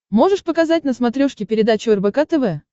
можешь показать на смотрешке передачу рбк тв